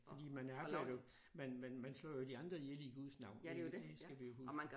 Fordi man er man man man slår jo de andre ihjel i Guds navn det det skal vi huske